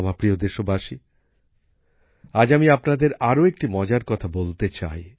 আমার প্রিয় দেশবাসী আজ আমি আপনাদের আরও একটি মজার কথা বলতে চাই